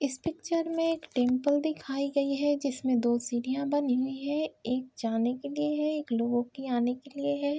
इस पिक्चर में एक टेम्पल दिखाई गयी हैं जिसमें दो सिढ़ीयाॅं बनी हुई हैं एक जाने के लिए है एक लोगों के आने के लियें है।